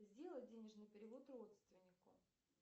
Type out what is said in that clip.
сделай денежный перевод родственнику